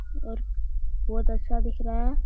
और बहोत अच्छा दिख रहा है।